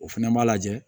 O fɛnɛ b'a lajɛ